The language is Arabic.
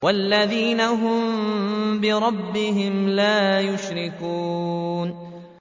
وَالَّذِينَ هُم بِرَبِّهِمْ لَا يُشْرِكُونَ